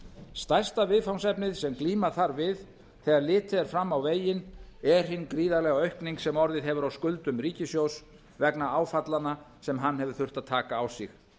stærsta viðfangsefnið sem glíma þarf við þegar litið er fram á veginn er hin gríðarlega aukning sem orðið hefur á skuldum ríkissjóðs vegna áfallanna sem hann hefur þurft að taka á sig